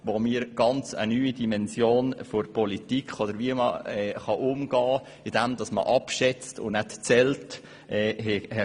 Dort haben wir eine ganz neue Dimension der Politik oder des Umgangs damit kennen gelernt, indem dort nämlich geschätzt und nicht gezählt wird.